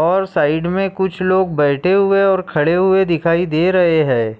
और साईड में कुछ लोग बैठे हुए और खडे हुए दिखाई दे रहे है।